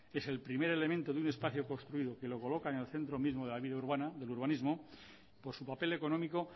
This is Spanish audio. es el primer elemento de un espacio construido que lo coloca en el centro mismo de la vida urbana del urbanismo por su papel económico